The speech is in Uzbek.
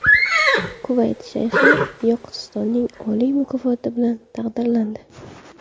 Kuvayt shayxi Yoqutistonning oliy mukofoti bilan taqdirlandi.